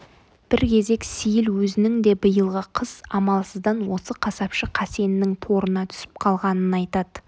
бір кезек сейіл өзінің де биылғы қыс амалсыздан осы қасапшы қасеннің торына түсіп қалғанын айтады